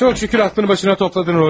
Çox şükür ağlını başına topladın Rodiya.